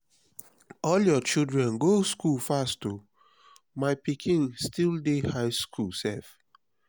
all your children go school fast oo. my pikin still dey high school sef.